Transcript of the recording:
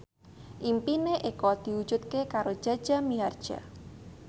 impine Eko diwujudke karo Jaja Mihardja